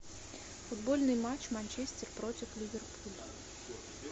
футбольный матч манчестер против ливерпуля